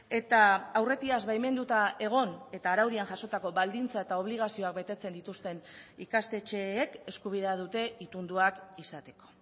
eta aurretiaz baimenduta egon eta araudian jasotako baldintza eta obligazioak betetzen dituzten ikastetxeek eskubidea dute itunduak izateko